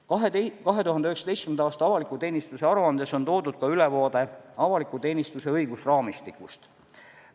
2019. aasta avaliku teenistuse aruandes on toodud ka ülevaade avaliku teenistuse õigusraamistikust.